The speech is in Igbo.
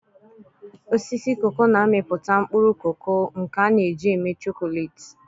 Osisi cacao na-amịpụta mkpụrụ koko, nke a na-eji eme chocolate.